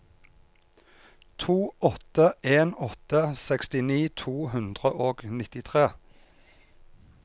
to åtte en åtte sekstini to hundre og nittitre